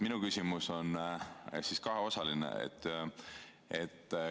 Minu küsimus on kaheosaline.